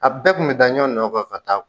A bɛɛ kun be da ɲɔ nɔ nɔkan ka taa